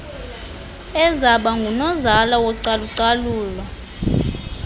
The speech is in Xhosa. ezaba ngunozala wocalucalulo